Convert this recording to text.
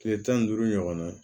Kile tan ni duuru ɲɔgɔn na